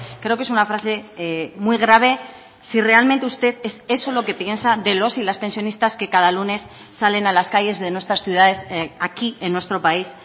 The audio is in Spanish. creo que es una frase muy grave si realmente usted es eso lo que piensa de los y las pensionistas que cada lunes salen a las calles de nuestras ciudades aquí en nuestro país